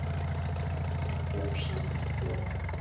En þó samkvæmt fjöl